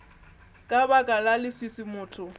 ka baka la leswiswi motho